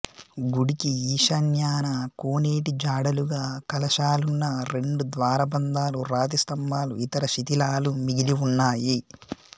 గుడికి ఈశాన్యాన కోనేటిజాడలుగా కలశాలున్న రెండుద్వారబంధాలు రాతిస్తంభాలు ఇతరశిథిలాలు మిగిలివున్నాయి